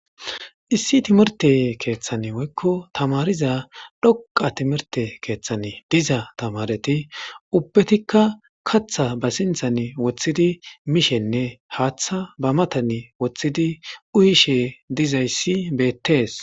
Issi timirtte keeththan woko tamaariza dhoqqa keeththan diza tamaare nayti ubbatika kaththa ba sinththan woththidi mishe detes.